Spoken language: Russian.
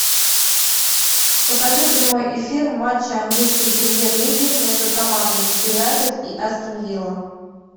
покажи прямой эфир матча английской премьер лиги между командами юнайтед и астон вилла